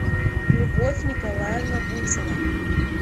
любовь николаевна буцина